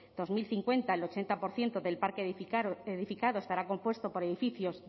dos mil cincuenta el ochenta por ciento del parque edificado estará compuesto por edificios